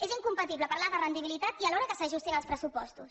és incompatible parlar de rendibilitat i alhora que s’ajustin els pressupostos